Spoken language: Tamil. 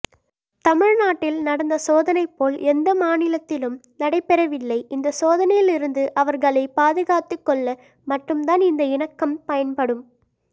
தமிழ்நாட்டில் நடந்த சோதனைபோல் எந்த மாநிலத்திலும் நடைபெற வில்லை இந்த சோதனையிலிருந்து அவர்களை பாதுகாத்துக்கொள்ள மட்டும்தான் இந்த இணக்கம் பயன்படும்